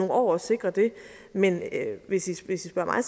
år at sikre det men hvis i spørger mig